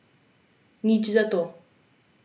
Nič zato.